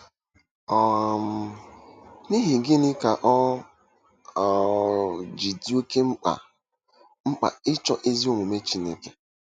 um N’ihi gịnị ka o um ji dị oké mkpa mkpa ịchọ ezi omume Chineke?